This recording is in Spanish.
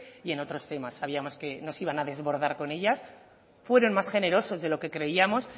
y en otros temas sabíamos que nos iban a desbordar con ellas fueron más generosos de lo que creíamos